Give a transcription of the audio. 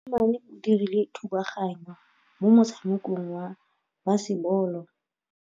Mosimane o dirile thubaganyô mo motshamekong wa basebôlô.